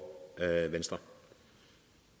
halvfems og